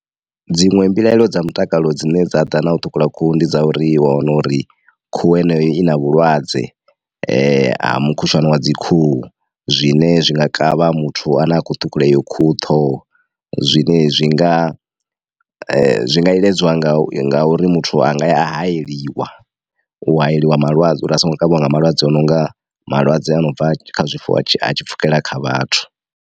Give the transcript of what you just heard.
Dziṅwe mbilaelo dza mutakalo dzine dza ḓa na u ṱhukhula khuhu ndi dza uri i wa wana uri khuhu heneyo i na vhulwadze ha mukhushwane wa dzi khuhu. Zwine zwi nga kavha muthu ane a kho ṱhukhula eyo khuhu ṱhoho, zwine zwi nga zwi nga iledzwa nga ngauri muthu a nga ya a hayeliwa, u hayeliwa malwadze uri a songo kavhiwa nga malwadze a nonga malwadze a no bva kha zwifuwo a tshi pfhukela kha vhathu.